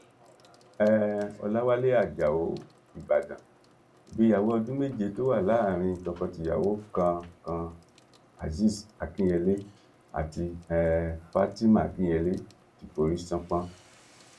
um ọlàwálẹ ajáò ìbàdàn ìgbéyàwó ọọdún méje tó wà láàrin tokotìyàwó kan kan azeez akinyele àti um fatima akinyele ti forí ṣánpọn